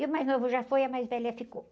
E o mais novo já foi e a mais velha ficou.